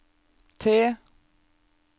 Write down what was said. T